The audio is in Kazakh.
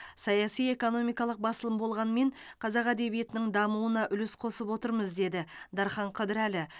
саяси экономикалық басылым болғанмен қазақ әдебиетінің дамуына үлес қосып отырмыз деді дархан қыдырәлі